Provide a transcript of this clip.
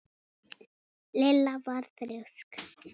Lilla var þrjósk.